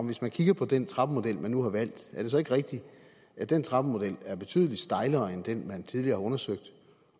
hvis man kigger på den trappemodel man nu har valgt er det så ikke rigtigt at den trappemodel er betydelig strengere end den man tidligere har undersøgt